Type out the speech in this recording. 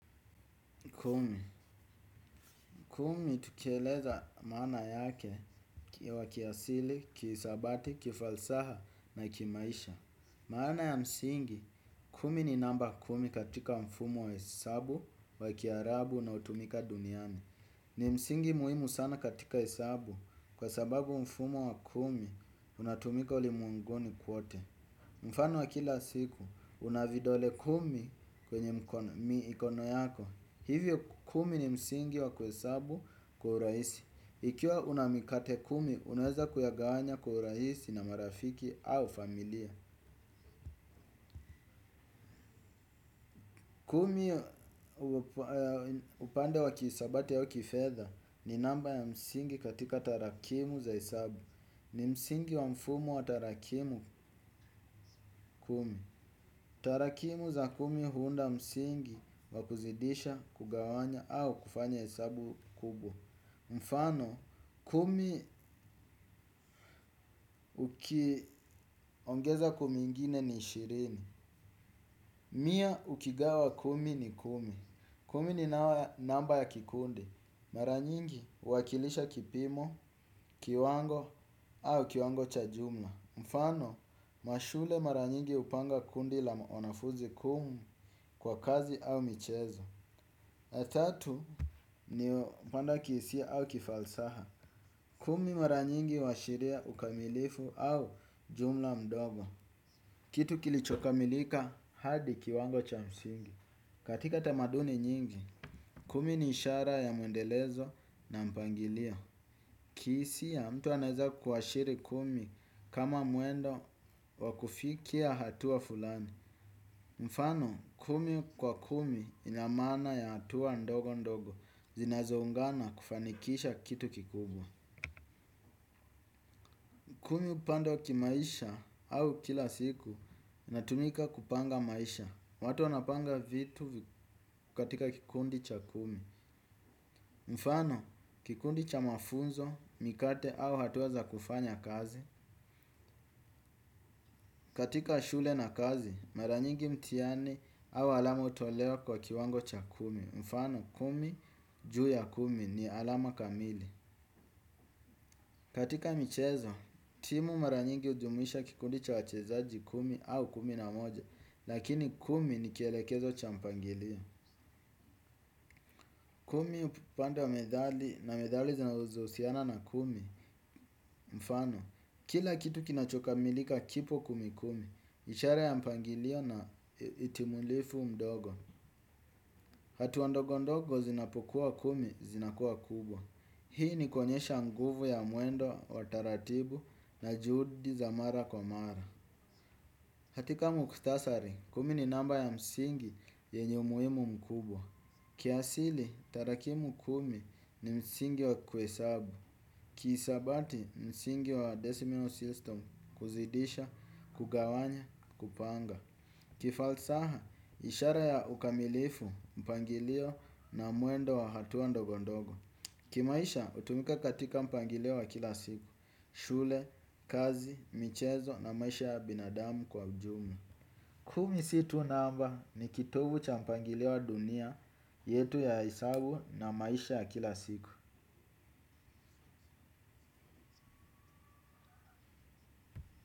Kumi, kumi tukieleza maana yake wa kiasili, kisabati, kifalsaha na kimaisha. Maana ya msingi, kumi ni namba kumi katika mfumo wa hesabu wa kiarabu na utumika duniani. Ni msingi muhimu sana katika hesabu kwa sababu mfumo wa kumi unatumika ulimwenguni kote. Mfano wa kila siku, unavidole kumi kwenye mikono yako. Hivyo kumi ni msingi wa kuhesabu kwaurahisi. Ikiwa unamikate kumi, unaweza kuyagawanya kwa urahisi na marafiki au familia. Kumi upande wa kihisabati wa kifedha ni namba ya msingi katika tarakimu za hesabu. Ni msingi wa mfumo wa tarakimu kumi. Tarakimu za kumi huunda msingi wa kuzidisha kugawanya au kufanya hesabu kubwa. Mfano, kumi ukiongeza kumi ingine ni ishirini. Mia ukigawa kumi ni kumi. Kumi ni namba ya kikundi. Maranyingi uwakilisha kipimo, kiwango au kiwango cha jumla. Mfano, mashule maranyingi upanga kundi la wanafunzi kumi kwa kazi au michezo tatu ni upande wa kihisia au kifalsaha. Kumi mara nyingi uwashilia ukamilifu au jumla mdogo. Kitu kilichokamilika hadi kiwango cha msingi. Katika tamaduni nyingi, kumi ni ishara ya mwendelezo na mpangilio. Kihisia mtu anaweza kuwashiri kumi kama mwendo wakufikia hatua fulani. Mfano kumi kwa kumi inamana ya hatua ndogo ndogo zinazoungana kufanikisha kitu kikubwa. Kumi upande wa kimaisha au kila siku, natumika kupanga maisha. Watu wanapanga vitu katika kikundi cha kumi. Mfano, kikundi cha mafunzo, mikate au hatua za kufanya kazi. Katika shule na kazi, maranyingi mtihani au alama utolewa kwa kiwango cha kumi. Mfano, kumi juu ya kumi ni alama kamili. Katika michezo, timu maranyingi ujumlisha kikundi cha wachezaji kumi au kumi na moja. Lakini kumi ni kielekezo cha mpangilio. Kumi upande wa medali na medali zinazo husiana na kumi. Mfano, kila kitu kinachoka milika kipo kumi kumi. Nishara ya mpangilio na itimulifu mdogo. Hatua ndogo ndogo zinapokuwa kumi zinakuwa kubwa. Hii ni kuonyesha nguvu ya mwendo wa taratibu na juhudi za mara kwa mara. Katika muktasari, kumi ni namba ya msingi yenye umuhimu mkubwa. Kiasili, tarakimu kumi ni msingi wa kuhe sabu. Kisabati, msingi wa decimal system kuzidisha, kugawanya, kupanga kifalsaha, ishara ya ukamilifu, mpangilio na mwendo wa hatua ndogondogo kimaisha, utumika katika mpangilio wa kila siku, shule, kazi, michezo na maisha ya binadamu kwa ujumla kumi si tu namba ni kitovu champangilio wa dunia yetu ya hesabu na maisha ya kila siku.